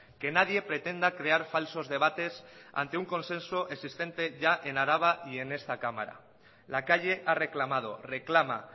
que nadie pretenda crear falsos debates ante un consenso existente ya en araba y en esta cámara la calle ha reclamado reclama